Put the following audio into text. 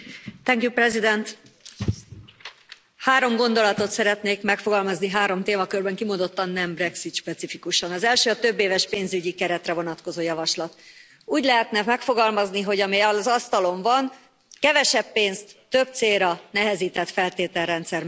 Tisztelt Elnök asszony! Három gondolatot szeretnék megfogalmazni, három témakörben, kimondottan nem brexit specifikusan. Az első a többéves pénzügyi keretre vonatkozó javaslat úgy lehetne megfogalmazni, hogy ami az asztalon van, kevesebb pénzt, több célra, nehezített feltételrendszer mellett.